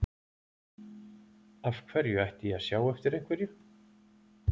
Af hverju ætti ég að sjá eftir einhverju?